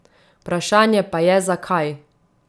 Vprašanje pa je, zakaj.